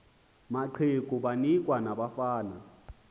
amaqegu banikwa nabafana